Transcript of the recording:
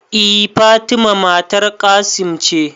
E Fatima matar Qassim ce